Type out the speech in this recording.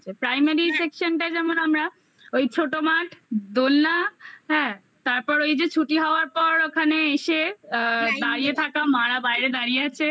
primary section টা যেমন আমরা ওই ছোট মাঠ দোলনা হ্যাঁ তারপর ওই যে ছুটি হওয়ার পর ওখানে এসে অ্যা দাঁড়িয়ে থাকা মা রা বাইরে দাঁড়িয়ে আছে